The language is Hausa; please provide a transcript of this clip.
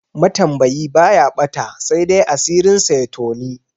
Matambayi baya ɓata, saidai asirinsa ya toni.